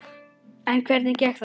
En hvernig gekk þar?